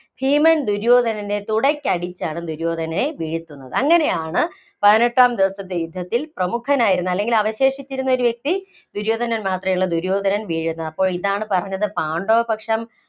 ഭീമൻ, ദുര്യോധനനെ തുടയ്ക്കടിച്ചാണ് ദുര്യോധനനെ വീഴ്ത്തുന്നത്. അങ്ങനെയാണ് പതിനെട്ടാം ദിവസത്തെ യുദ്ധത്തില്‍ പ്രമുഖനായിരുന്ന അല്ലെങ്കില്‍ അവശേഷിച്ചിരുന്ന ഒരു വ്യക്തി ദുര്യോധനൻ മാത്രേ ഉള്ളൂ. ദുര്യോധനൻ വീഴുന്നത്. അപ്പോ ഇതാണ് പറഞ്ഞത് പാണ്ഡവപക്ഷം